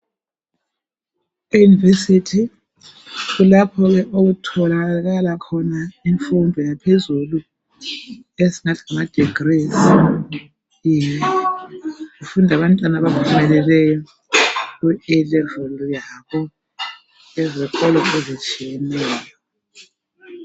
E-university kulapho ke okutholakala khona imfundo yaphezulu. Esingathi ngamadegrees. Yeye...Kufunda abantwana abaphumeleleyo, kuA level, yabo, kuzikolo ezitshiyeneyo.